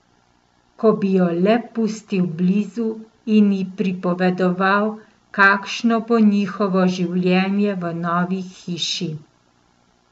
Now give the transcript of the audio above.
Ko bi jo le pustil blizu in ji pripovedoval, kakšno bo njihovo življenje v novi hiši.